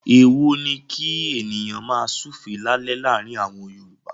Èèwọ̀ ni kí ènìyàn máa súùfé lálẹ́ láàárin àwọn Yorùbá.